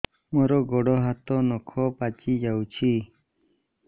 ମୋର ଗୋଡ଼ ହାତ ନଖ ପାଚି ଯାଉଛି